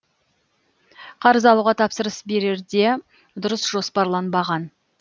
қарыз алуға тапсырыс берерде дұрыс жоспарланбаған